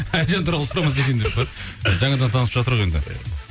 әлжан туралы сұрамаса екен деп па жаңадан танысып жатыр ғой енді